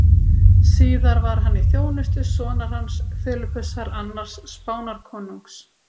Síðar var hann í þjónustu sonar hans, Filippusar annars Spánarkonungs.